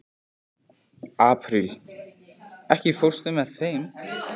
Apríl, ekki fórstu með þeim?